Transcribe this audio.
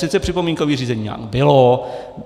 Sice připomínkové řízení bylo.